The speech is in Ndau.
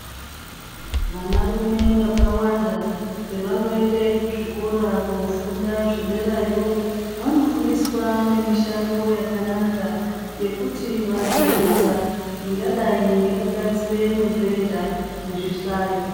Vanarume vakawanda pavanoenda kuzvikora koofunda zvederayo ,vanofundiwsa nemishando yakanaka yekuti vazoita ingadai ngekugadzira mubhedha nezvihlayo.